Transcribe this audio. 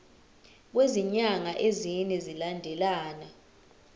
kwezinyanga ezine zilandelana